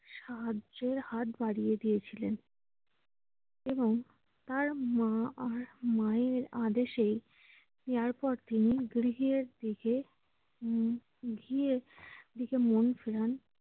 সাহায্যের হাত বাড়িয়ে দিয়েছিলেন। এবং তার মা আর মায়ের আদেশে এরপর তিনি দিকে উম